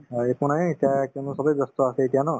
হয়, একো নাই এতিয়া কিয়নো চবে ব্যস্ত আছে এতিয়া ন